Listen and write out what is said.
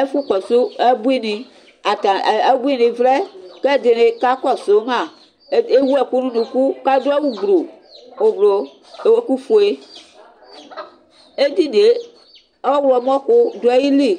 Ɛfʋkɔsʋ abuini, kʋ abuini vlɛ kʋ edi kakɔsʋma, ewʋ ɛkʋ nʋ ʋnʋkʋ kʋ adʋ ʋblʋ kʋ ewʋ ɛkʋfue edinie ɔwlɔmɔ kʋ dʋ ayili